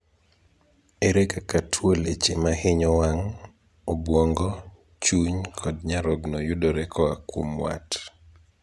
Ere kaka tuo leche mahinyo wang', obwongo, chuny kod nyarogno yudore koa kuom wat?